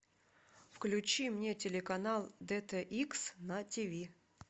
включи мне телеканал дт икс на тв